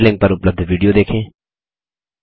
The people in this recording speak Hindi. निम्न लिंक पर उपलब्ध विडियो देखें